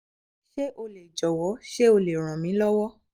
ṣé o lè jọ̀wọ́ ṣé o lè ràn mí lọ́wọ́?